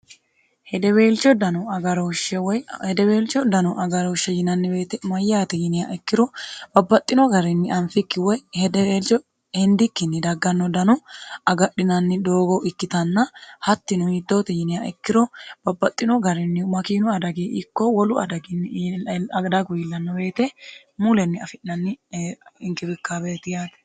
hedeweelco dano agarooshshe yinanni woyiite moyyaate yiniha ikkiro babbaxxino garinni anfikki woy hedeweelcho hindikkinni dagganno dano agadhinanni doogo ikkitanna hattinuhittoote yinia ikkiro babbaxxino garinni makiinu adagi ikko wolu adaginnigdagu iillnno beete mulenni afi'nanni hinkibikkbeeti yaate